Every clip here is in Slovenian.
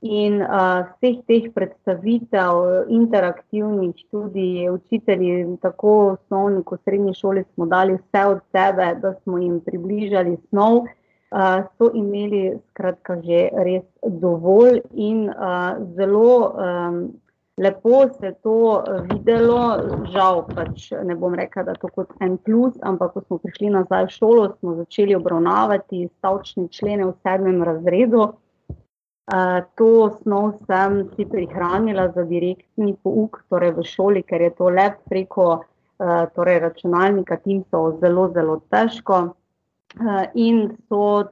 in, vseh teh predstavitev interaktivnih študij je, sicer je tako v osnovni kot srednji šoli smo dali vse od sebe, da smo jim približali snov, so imeli skratka že res dovolj in, zelo, lepo se je to videlo, žal pač ne bom rekla, da to kot en plus, ampak ko smo prišli nazaj v šolo, smo začeli obravnavati stavčne člene v sedmem razredu, to snov sem si prihranila za direktni pouk, torej za šole, ker je to le preko, torej računalnika zelo zelo težko. in so,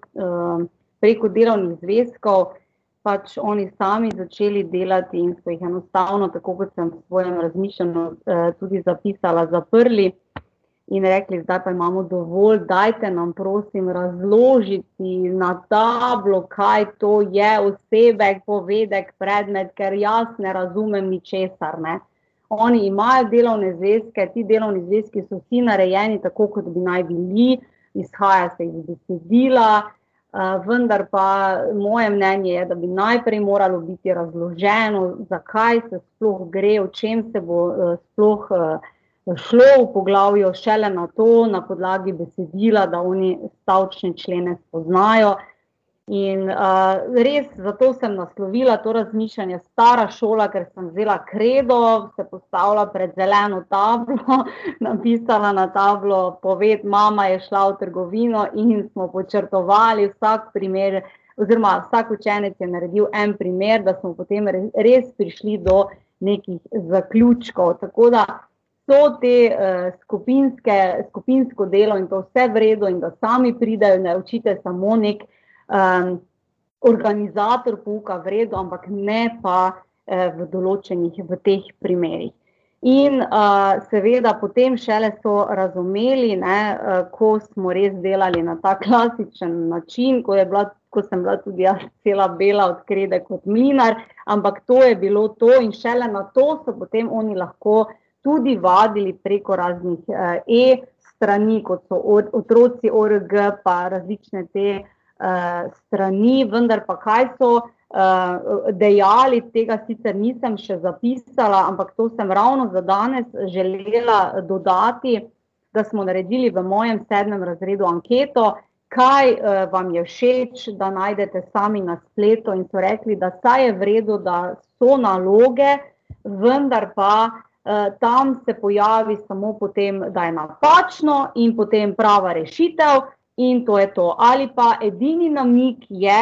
preko delovnih zvezkov pač oni sami začeli delati in so jih enostavno, tako kot sem v svojem razmišljanju, tudi zapisala, zaprli in rekli: "Zdaj pa imamo dovolj, dajte nam prosim razložiti na tablo, kaj to je, osebek, povedek, predmet, ker jaz ne razumem ničesar, ne." Oni imajo delovne zvezke, ti delovni zvezki so vsi narejeni, tako kot bi naj bili, izhaja se iz besedila, vendar pa, moje mnenje je, da bi najprej moralo biti razloženo, zakaj se sploh gre, o čem se bo, sploh, bo šlo v poglavju, šele nato, na podlagi besedila, da oni stavčne člene spoznajo. In, res, zato sem naslovila to razmišljanje Stara šola, ker sem vzela kredo, se postavlja pred zeleno tablo, napisala na tablo poved Mama je šla v trgovino in smo podčrtovali vsak primer oziroma vsak učenec je naredil en primer, da smo potem res prišli do nekih zaključkov, tako da so te, skupinske, skupinsko delo je bilo vse v redu, in da sami pridejo do, da je učitelj samo neki, organizator pouka, v redu, ampak ne pa, v določenih, v teh primerih. In, seveda potem šele so razumeli, ne, ko smo res delali na ta klasični način, ko je bila, ko sem bila tudi jaz cela bela od krede kot mlinar, ampak to je bilo to in šele nato so potem oni lahko tudi vadili preko raznih, e-strani, kot so otroci org pa različne te, strani, vendar pa kaj so, dejali, tega sicer nisem še zapisala, ampak to sem ravno za danes želela dodati, da smo naredili v mojem sedmem razredu anketo, kaj, vam je všeč, da najdete sami na spletu, in so rekli, da saj je v redu, da so naloge, vendar pa, tam se pojavi samo potem, da je napačno in potem prava rešitev in to je to. Ali pa edini namig je,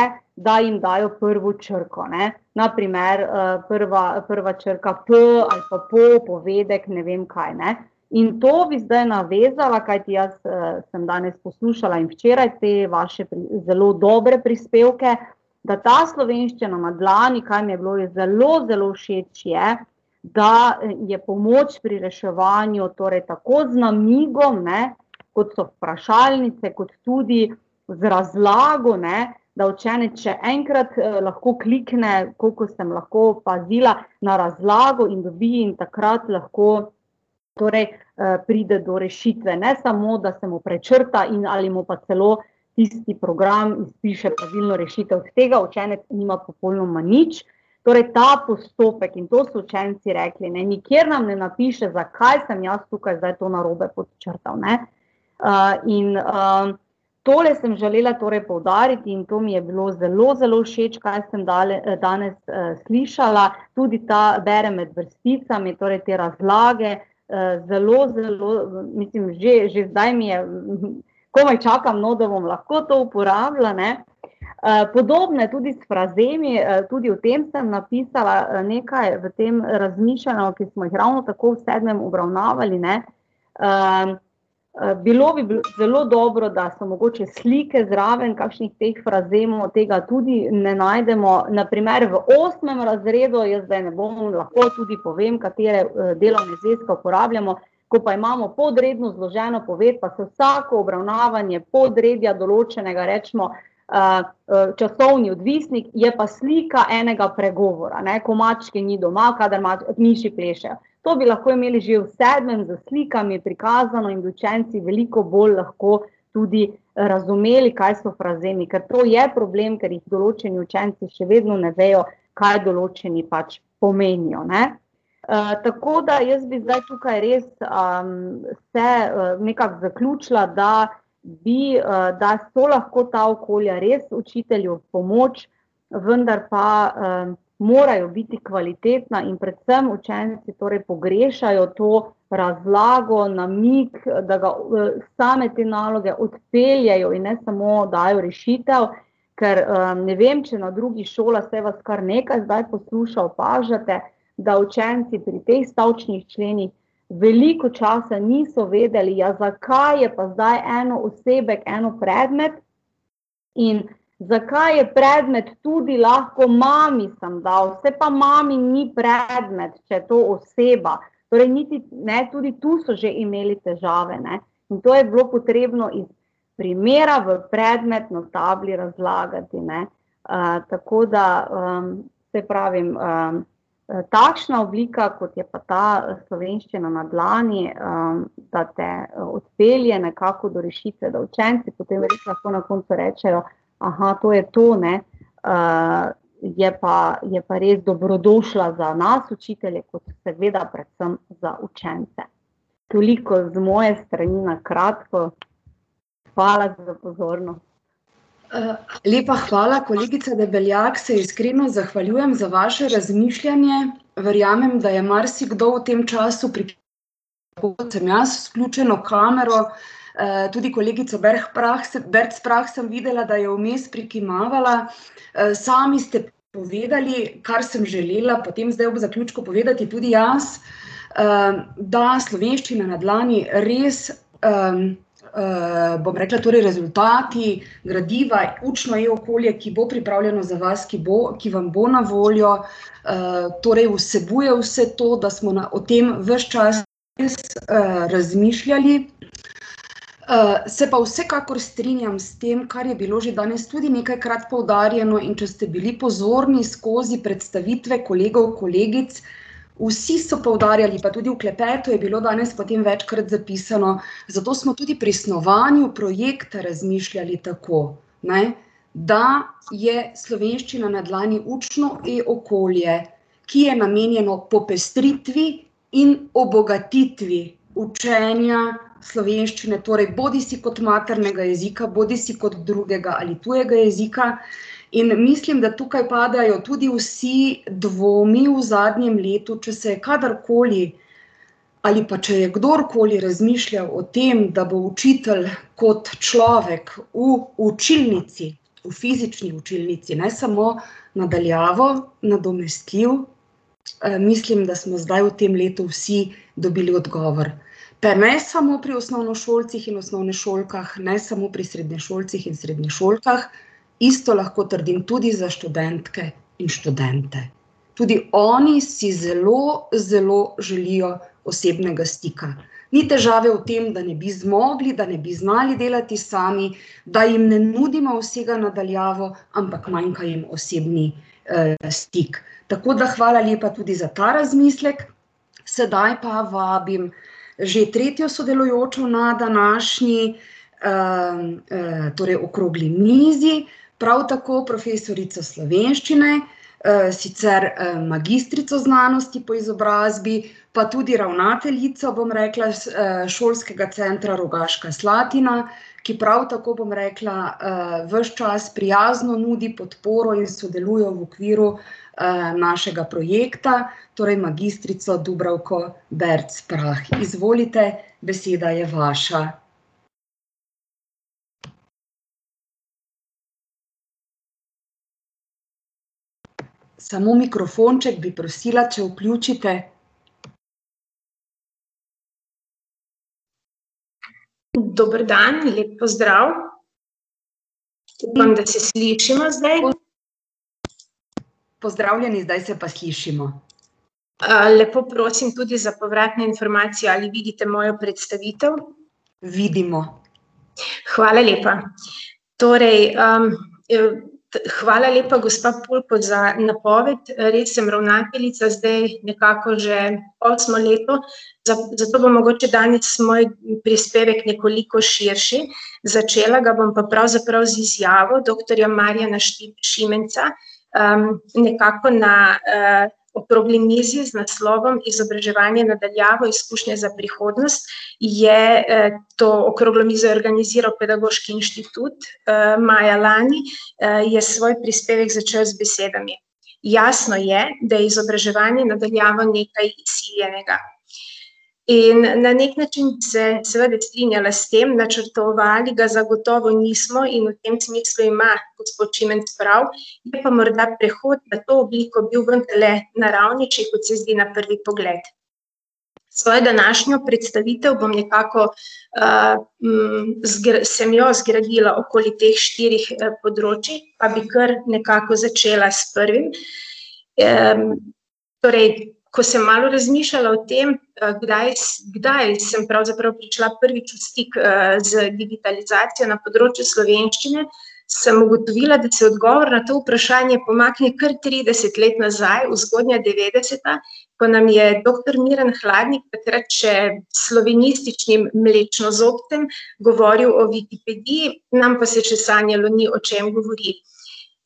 da jim dajo prvo črko, ne, na primer, prva, prva črka po ali p a po, povedek, ne vem kaj, ne. In to bi se navezala, kajti jaz, sem danes poslušala in včeraj te vaše zelo dobre prispevke, da ta Slovenščina na dlani, kar mi je bilo res zelo zelo všeč, je, da je pomoč pri reševanju, torej tako z namigom, ne, kot so vprašalnice, kot tudi z razlago, ne, da učenec še enkrat, lahko klikne, kolikor sem lahko opazila, na razlago in dobi in takrat lahko torej, pride do rešitve, ne samo da se mu prečrta in, ali mu pa celo tisti program izpiše pravilno rešitev, od tega učenec nima popolnoma nič. Torej ta postopek, in to so učenci rekli, ne: "Nikjer nam ne napiše, zakaj sem jaz tukaj zdaj to narobe podčrtal, ne." in, tole sem želela torej poudariti in to mi je bilo zelo zelo všeč, kaj sem danes, slišala, tudi ta, berem med vrsticami, torej te razlage, zelo zelo, mislim, že, že zdaj mi je, komaj čakam, no, da bom lahko to uporablja, ne. podobno je tudi s frazemi, tudi o tem sem napisala, nekaj v tem razmišljanju, ki smo jih ravno tako v sedmem obravnavali, ne, bilo bi zelo dobro, da so mogoče slike zraven kakšnih teh frazemov, tega tudi ne najdemo, na primer v osmem razredu je, zdaj ne bomo, lahko tudi povem, katere, delovne zvezke uporabljamo, ko pa imamo podredno zloženo poved, pa za vsako obravnavanje podredja določenega, recimo, časovni odvisnik, je pa slika enega pregovora, ne: "Ko mačke ni doma, kadar miši plešejo." To bi lahko imeli že v sedmem s slikami prikazano in bi učenci veliko bolj lahko tudi razumeli, kaj so frazemi, ker to je problem, ker jih določeni učenci še vedno ne vejo, kaj določeni pač pomenijo, ne. tako da, jaz bi zdaj tukaj res, vse nekako zaključila, da bi, da so lahko ta okolja res učitelju v pomoč, vendar pa, morajo biti kvalitetna in predvsem učenci torj pogrešajo to razlago, namig, da ga same te naloge odpeljejo in ne samo dajo rešitev, ker, ne vem, če na drugih šolah, saj vas kar nekaj zdaj posluša, opažate, da učenci pri teh stavčnih členih veliko časa niso vedeli, ja, zakaj je pa zdaj eno osebek, eno predmet, in zakaj je predmet tudi lahko: "Mami sem dal." "Saj pa mami ni predmet, če je to oseba." Torej niti, ne, tudi tu so že imeli težave, ne. Zato je bilo potrebno iz primera v predmet na tabli razlagati, ne. tako da, saj pravim, takšna oblika, kot je pa ta Slovenščina na dlani, pa te, odpelje nekako do rešitve, da učenci potem lahko na koncu rečejo: to je to, ne." je pa, je pa res dobrodošla za nas, učitelje, kot seveda predvsem za učence. Toliko z moje strani na kratko. Hvala za pozornost. lepa hvala, kolegica Debeljak, se iskreno zahvaljujem za vaše razmišljanje, verjamem, da je marsikdo v tem času tako, kot sem jaz vključeno kamero, tudi kolegica Berc Prah Berc Prah sem videla, da je vmes prikimavala, sami ste povedali, kar sem želela potem zdaj ob zaključku povedati tudi jaz, da Slovenščina na dlani res, bom rekla, torej rezultati gradiva, učno e-okolje, ki bo pripravljeno za vas, ki bo, ki vam bo na voljo, torej vsebuje vse to, da smo o tem ves čas res, razmišljali. se pa vsekakor strinjam s tem, kar je bilo že danes tudi nekajkrat poudarjeno, in če ste bili pozorni, skozi predstavitve kolegov, kolegic, vsi so poudarjali, pa tudi v klepetu je bilo danes potem večkrat zapisano, zato smo tudi pri snovanju projekta razmišljali tako, ne. Da je Slovenščina na dlani učno e-okolje, ki je namenjeno popestritvi in obogatitvi učenja slovenščine, torej bodisi kot maternega jezika bodisi kot drugega ali tujega jezika. In mislim, da padajo tukaj tudi vsi dvomi v zadnjem letu, če se kadarkoli ali pa če je kdorkoli razmišljal o tem, da bo učitelj kot človek v učilnici, v fizični učilnici, ne samo na daljavo, nadomestljiv, mislim, da smo zdaj v tem letu vsi dobil odgovor. Pa ne samo pri osnovnošolcih in osnovnošolkah, ne samo pri srednješolcih in srednješolkah, isto lahko trdim tudi za študentke in študente. Tudi oni si zelo zelo želijo osebnega stika. Ni težave v tem, da ne bi zmogli, da ne bi znali delati sami, da jim ne nudimo vsega na daljavo, ampak manjka jim osebni, stik. Tako da hvala lepa tudi za ta razmislek, sedaj pa vabim že tretjo sodelujočo na današnji, torej okrogli mizi, prav tako profesorico slovenščine, sicer, magistrico znanosti po izobrazbi, pa tudi ravnateljico, bom rekla, s, Šolskega centra Rogaška Slatina, ki prav tako, bom rekla, ves čas prijazno nudi podporo in sodeluje v okviru, našega projekta, torej magistrico Dubravko Berc Prah. Izvolite, beseda je vaša. Samo mikrofon, če, bi prosila, če vključite. Dober dan, lep pozdrav. Upam, da se slišimo zdaj. Pozdravljeni, zdaj se pa slišimo. lepo prosim tudi za povratno informacijo, ali vidite mojo predstavitev. Vidimo. Hvala lepa. Torej, hvala lepa, gospa Pulko, za napoved, res sem ravnateljica zdaj nekako že osmo leto, zato bo mogoče danes moj prispevek nekoliko širši, začela ga bom pa pravzaprav z izjavo doktorja Marjana Šimenca, ki nekako na, okrogli mizi z naslovom Izobraževanje na daljavo, izkušnje za prihodnost, je, to okroglo mizo organizirali Pedagoški inštitut, maja lani, je svoj prispevek začel z besedami: "Jasno je, da je izobraževanje na daljavo nekaj ." In na neki način bi se seveda strinjala s tem, načrtovali ga zagotovo nismo in v tem smislu ima gospod Šimenc prav, bi pa morda prehod na to obliko bil vendarle , kot se zdi na prvi pogled Svojo današnjo predstavitev bom nekako, sem jo zgradila okoli teh štirih, področij, pa bi kar nekako začela s prvim. torej, ko sem malo razmišljala o tem, kdaj kdaj sem pravzaprav prišla prvič v stik z digitalizacijo na področju slovenščine, sem ugotovila, da se odgovor na to vprašanje pomakne kar trideset let nazaj, v zgodnja devetdeseta, ko nam je doktor Miran Hladnik, takrat še slovenističnim mlečnozobcem, govoril o Wikipediji, nam pa se še sanjalo ni, o čem govori. In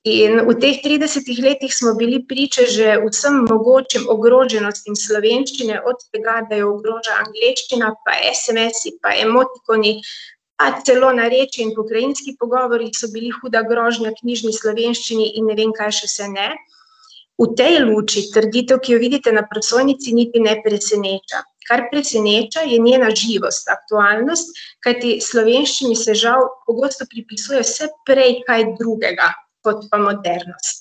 v teh tridesetih letih smo bili priča že vsem mogočim ogroženostim slovenščine, od tega, da jo ogroža angleščina pa SMS-i pa emotikoni ali celo narečje in pokrajinski pogovori so bili huda grožnja knjižni slovenščini in ne vem kaj še vse ne. V tej luči trditev, ki jo vidite na prosojnici, niti ne preseneča. Kar preseneča, je njena živost, aktualnost, kajti slovenščini se žal pogosto pripisuje vse prej kaj drugega kot pa modernost.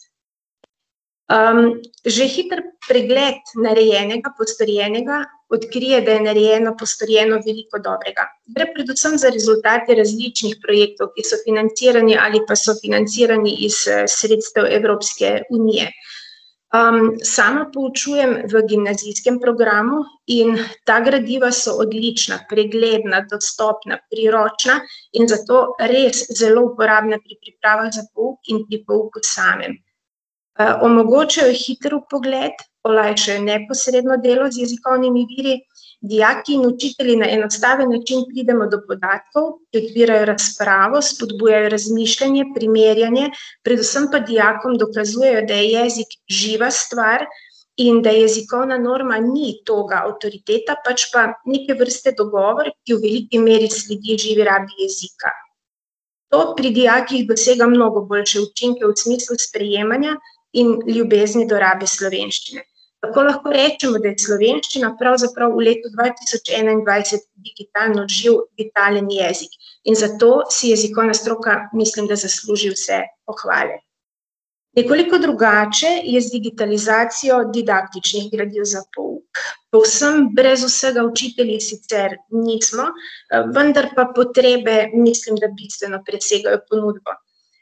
že hitro pregled narejenega, postorjenega odkrije, da je narejeno, postorjeno veliko dobrega. Gre predvsem za rezultate različnih projektov, ki so financirani ali pa so financirani iz, sredstev Evropske unije. sama poučujem v gimnazijskem programu in ta gradiva so odlična, pregledna, dostopna, priročna in zato res zelo uporabna pri pripravah za pouk in pri pouku samem. omogočajo hiter vpogled, olajšajo neposredno delo z jezikovnimi viri, dijaki in učitelji na enostaven način pridemo do podatkov, odpirajo razpravo, spodbujajo razmišljanje, primerjanje, predvsem pa dijakom dokazujejo, da je jezik živa stvar in da jezikovna norma ni toga avtoriteta, pač pa neke vrste dogovor, ki v veliki meri sledi živi rabi jezika. To pri dijakih dosega mnogo boljše učinke, v smislu sprejemanja in ljubezni do rabi slovenščine. Tako lahko rečemo, da je slovenščina pravzaprav v letu dva tisoč enaindvajset digitalno živ digitalni jezik. In zato si jezikovna stroka, mislim, da zasluži vse pohvale. Nekoliko drugače je z digitalizacijo didaktičnih gradiv za pouk. Povsem brez vsega učitelji sicer nismo, vendar pa potrebe, mislim, da bistveno presegajo ponudbo.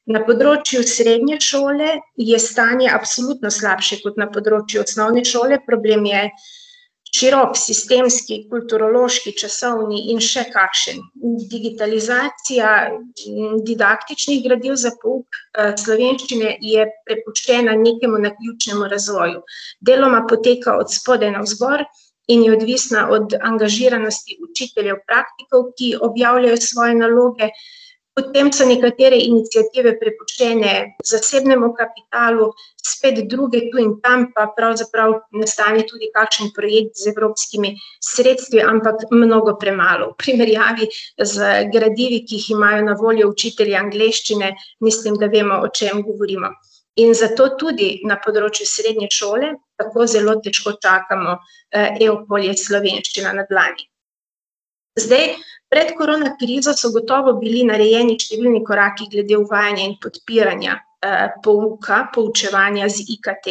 Na področju srednje šole je stanje absolutno slabše kot na področju osnovne šole, problem je širok sistemski, kulturološki, časovni in še kakšen. In digitalizacija didaktičnih gradiv za pouk, slovenščine je prepuščena nekemu naključnemu razvoju. Deloma poteka od spodaj navzgor in je odvisna od angažiranosti učiteljev praktikov, ki objavljajo svoje naloge, potem so nekatere iniciative prepuščene zasebnemu kapitalu, spet druge tu in tam pa pravzaprav nastane tudi kakšen projekt z evropskimi sredstvi, ampak mnogo premalo, v primerjavi z gradivi, ki jih imajo na voljo učitelji angleščine, mislim, da vemo, o čem govorimo. In zato tudi na področju srednje šole tako zelo težko čakamo, e-okolje Slovenščina na dlani. Zdj, pred korona krizo so gotovo bili narejeni številni koraki glede uvajanja in podpiranja, pouka, poučevanja z IKT.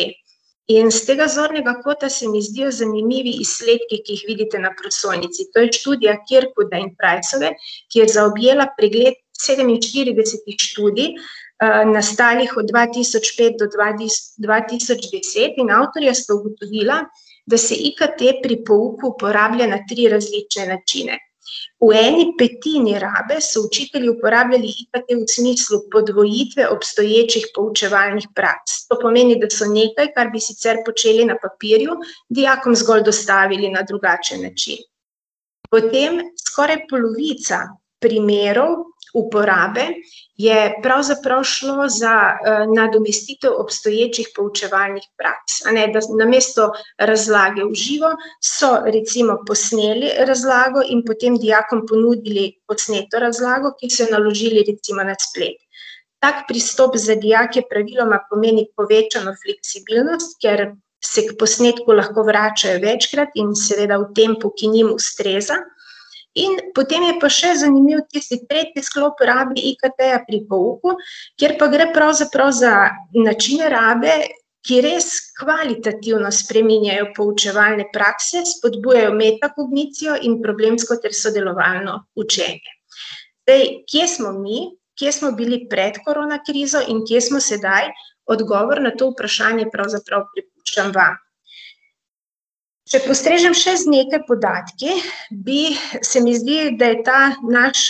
In s tega zornega kota se mi zdijo zanimivi izsledki, ki jih vidite na prosojnici, to je študija , ki je zaobjela pregled sedeminštiridesetih študij, nastalih od dva tisoč pet do dva dva tisoč deset, in avtorja spodbudila, da se IKT pri pouku uporablja na tri različne načine. V eni petini rabe so učitelji uporabljali IKT v smislu podvojitve obstoječih poučevalnih praks, to pomeni, da so nekaj, kar bi sicer počeli na papirju, dijakom zgolj dostavili na drugačen način. Potem skoraj polovica primerov uporabe je pravzaprav šlo za, nadomestitev obstoječih poučevalnih praks, a ne, da namesto razlage v živo, so recimo posneli razlago in potem dijakom ponudili posneto razlago, ki so jo naložili recimo na splet. Tako pristop za dijake praviloma pomeni povečano fleksibilnost, kjer se ker posnetku lahko vračajo večkrat in seveda v tempu, ki njim ustreza. In potem je pa še zanimiv tisti tretji sklop v rabi IKT-ja pri pouku, kjer pa gre pravzaprav za načine rabe, ki res kvalitativno spreminjajo poučevalne prakse, spodbujajo metakognicijo in problemsko ter sodelovalno učenje. Zdaj, kje smo mi? Kje smo bili pred korona krizo in kje smo sedaj? Odgovor na to vprašanje pravzaprav prepuščam vam. Če postrežem še z nekaj podatki, bi, se mi zdi, da je ta naš,